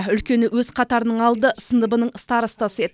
үлкені өз қатарының алды сыныбының старостасы еді